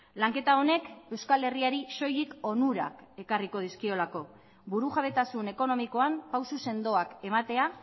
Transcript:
lanketa honek euskal herriari soilik onurak ekarriko dizkiolako burujabetasun ekonomikoan pauso sendoak ematea